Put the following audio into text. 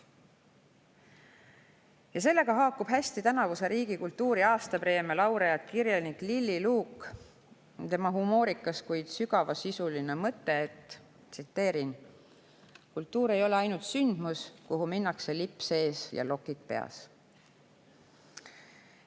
" Ja sellega haakub hästi tänavuse riigi kultuuri aastapreemia laureaadi, kirjanik Lilli Luugi humoorikas, kuid sügavasisuline mõte: "Kultuur ei ole ainult sündmus, kuhu minnakse lips ees ja lokid peas.